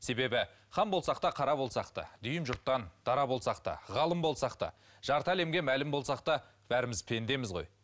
себебі хан болсақ та қара болсақ та дүйім жұрттан дара болсақ та ғалым болсақ та жарты әлемге мәлім болсақ та бәріміз пендеміз ғой